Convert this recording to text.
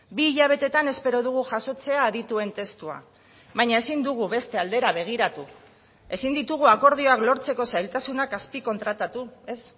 bi hilabetetan espero dugu jasotzea adituen testua baina ezin dugu beste aldera begiratu ezin ditugu akordioak lortzeko zailtasunak azpikontratatu ez